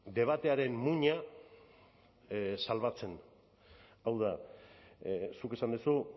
debatearen muina salbatzen hau da zuk esan duzu